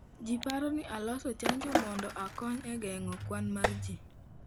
Ji paro ni olos chanjo mondo okony e geng'o kwan mar ji.